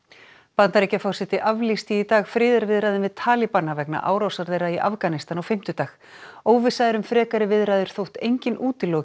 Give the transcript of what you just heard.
Bandaríkjaforseti aflýsti í dag friðarviðræðum við talibana vegna árásar þeirra í Afganistan á fimmtudag óvissa er um frekari viðræður þótt enginn útiloki